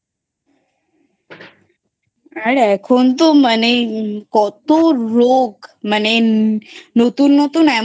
আর এখন তো মানে কত রোগ মানে নতুন নতুন এমন